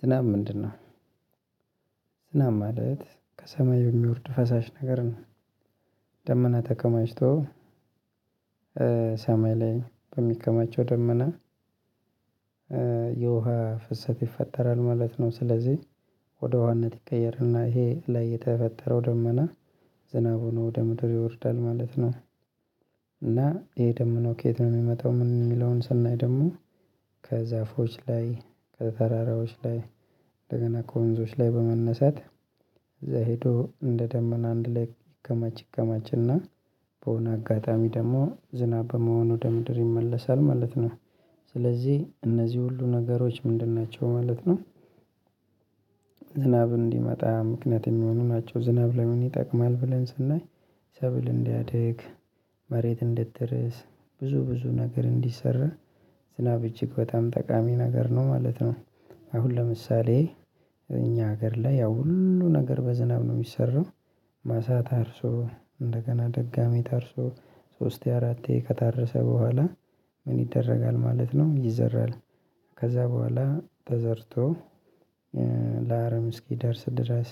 ዝና ምንድነው ዝናብ ማለት ከሰማይ የሚወርድ ፈሳሽ ነገር ነው ደመና ተከማችቶ ሰማይ ላይ በሚከማቸው ደመና የውሃ ፍሰት ይፈጠራል ማለት ነው። ስለዚህ ወደ ዉሀነት ይቀየርና ይሄ ላይ የተፈጠረው ደመና ዝናቡ ነው ወደ ምድር ይወርዳል ማለት ነው። እና ይሄ ደግሞ ከየት ነው የሚመጣው ምን የሚለውን ሰናይ ደግሞ ከዛፎች ላይ ከተራራዎች ላይ እንደገና ከወንዞች ላይ በመነሳት እዛ ሄዶ እንደ ደመና አንድ ላይ ይገማች ይገማችና በሆነ አጋጣሚ ደግሞ ዝናብ በመሆን ወደ ምድር ይመለሳል ማለት ነው። ስለዚህ እነዚህ ሁሉ ነገሮች ምንድን ናቸው ማለት ነው ዝናብ እንዲመጣ ምክንያት የሚሆኑ ናቸው ዝናብ ለምን ይጠቅማል ብለን ስናይ ሰብል እንዲያድግ መሬት እንድትረስ ብዙ ብዙ ነገር እንዲሰራ ዝናብ እጅግ በጣም ጠቃሚ ነገር ነው ማለት ነው። አሁን ለምሳሌ እኛ ሀገር ላይ ያው ሁሉ ነገር በዝናብ ነው የሚሰራው ማሳ ታርሶ እንደገና ደጋሚ ታርሶ ሶስቴ አራቴ ከታረሰ በኋላ ምን ይደረጋል ማለት ነው ይዘራል ከዛ በኋላ ተዘርቶ ለአረም እስኪደርስ ድረስ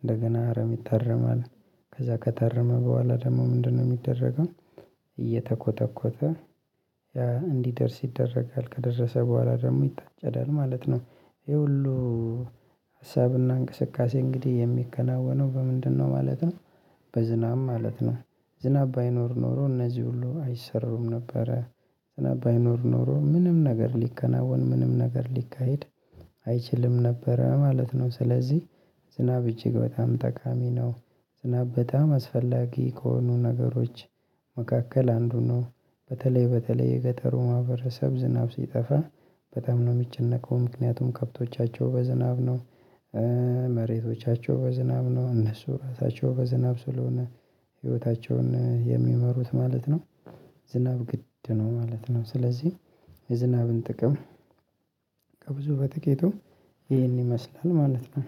እንደገና አረም ይታረማል ከዛ ከታረመ በኋላ ደግሞ ምንድነው የሚደረገው እየተኮተኮተ እንዲደርስ ይደረጋል ከደረሰ በኋላ ደግሞ ይታጨዳል ማለት ነው። ይሄ ሁሉ ሀሳብና እንቅስቃሴ እንግዲህ የሚከናወነው በምንድነው ማለት ነው በዝናብ ማለት ነው። ዝናብ ባይኖር ኖሮ እነዚህ ሁሉ አይሰሩም ነበረ። ዝናብ ባይኖር ኖሮ ምንም ነገር ሊከናወን ምንም ነገር ሊካሄድ አይችልም ነበረ ማለት ነው። ስለዚህ ዝናብ እጅግ በጣም ጠቃሚ ነው ዝናብ በጣም አስፈላጊ ከሆኑ ነገሮች መካከል አንዱ ነው። በተለይ በተለይ የገጠሩ ማህበረሰብ ዝናብ ሲጠፋ በጣም ነው የሚጨነቀው ምክንያቱም ከብቶቻቸው በዝናብ ነው መሬቶቻቸው በዝናብ ነው እነሱ ራሳቸው በዝናብ ስለሆነ ህይወታቸውን የሚመሩት ማለት ነው። ዝናብ ግድ ነው ማለት ነው ስለዚህ የዝናብን ጥቅም ከብዙ በጥቂቱ ይሄን ይመስላል ማለት ነው።